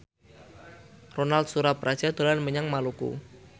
Ronal Surapradja dolan menyang Maluku